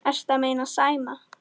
Ertu að meina Sæma?